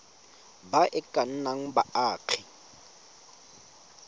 ba e ka nnang baagi